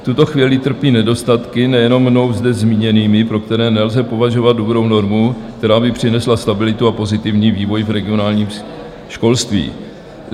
V tuto chvíli trpí nedostatky nejenom mnou zde zmíněnými, pro které nelze považovat dobrou normu, která by přinesla stabilitu a pozitivní vývoj v regionálním školství.